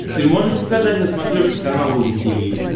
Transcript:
ты можешь показать на смотрешке канал рубль ти ви